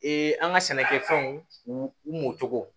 an ka sɛnɛkɛfɛnw u mɔ cogo